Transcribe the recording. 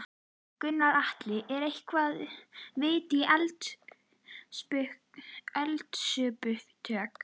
Gunnar Atli: Er eitthvað vitað um eldsupptök?